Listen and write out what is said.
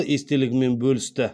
естелігімен бөлісті